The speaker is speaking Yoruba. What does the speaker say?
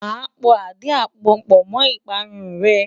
Màá po àdí-àgbon pọ̀ mọ́ ìparun rẹ.